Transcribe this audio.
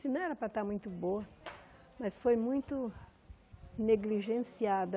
Assim não era para estar muito boa, mas foi muito negligenciada.